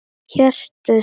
Hjörtun slá í takt.